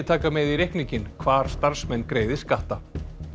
taka með í reikninginn hvar starfsmenn greiði skatta